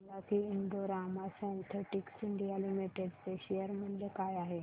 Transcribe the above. हे सांगा की Indo Rama synthetics India limited चे शेअर मूल्य काय आहे